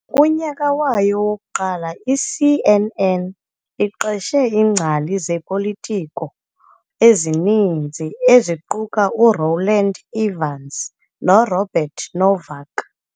Kunyaka wayo wokuqala i-CNN iqeshe iingcali zepolitiko ezininzi, eziquka u-Rowland Evans noRobert Novak.